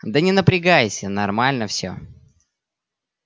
да не напрягайся нормально всё